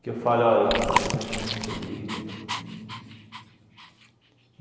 Que eu falo, olha, eu tive uma infância feliz, legal.